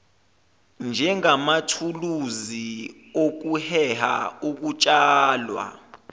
njengamathuluzi okuheha ukutshalwa